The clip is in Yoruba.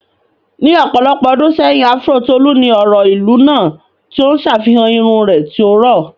Ní ọ̀pọ̀lọpọ̀ ọdún sẹ́yìn, áfúró Tolu ni ọ̀rọ̀ ìlú náà, tí ó ń ṣàfihàn irun rẹ̀ tí ó rọ̀.